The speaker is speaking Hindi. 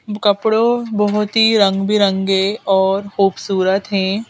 कपड़ों बहुत ही रंग बिरंगे और खूबसूरत हैं।